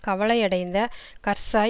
கவலையடைந்த Karzai